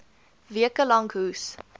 weke lank hoes